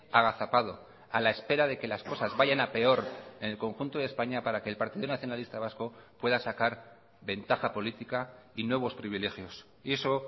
agazapado a la espera de que las cosas vayan a peor en el conjunto de españa para que el partido nacionalista vasco pueda sacar ventaja política y nuevos privilegios y eso